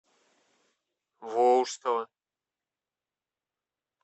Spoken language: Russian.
волжского